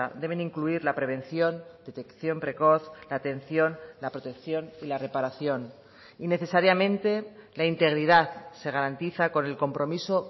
deben incluir la prevención detección precoz la atención la protección y la reparación y necesariamente la integridad se garantiza con el compromiso